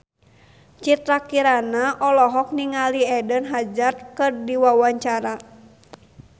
Citra Kirana olohok ningali Eden Hazard keur diwawancara